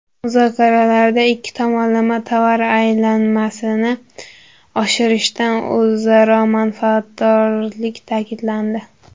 Muzokaralarda ikki tomonlama tovar aylanmasini oshirishdan o‘zaro manfaatdorlik ta’kidlandi.